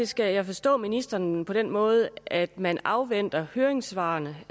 skal jeg forstå ministeren på den måde at man afventer høringssvarene